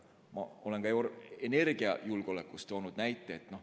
Ma olen ka energiajulgeoleku kohta toonud näite.